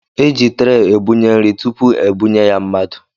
Eji traay etinye nri tụpụ ebúnye ya mmadụ.